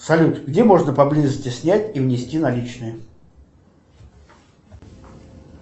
салют где можно поблизости снять и внести наличные